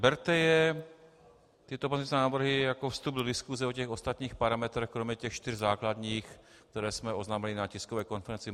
Berte je, tyto pozměňovací návrhy jako vstup do diskuse o těch ostatních parametrech kromě těch čtyř základních, které jsme oznámili na tiskové konferenci.